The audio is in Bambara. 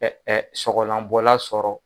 Ɛɛ ɛɛ sɔgɔlan sɔrɔ